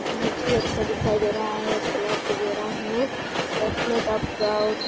बहुत ही अच्छा दिखाई दे रहा है वगेरा हैबैठने का ]